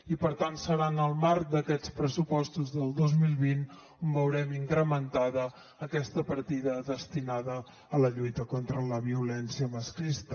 i per tant serà en el marc d’aquests pressupostos del dos mil vint on veurem incrementada aquesta partida destinada a la lluita contra la violència masclista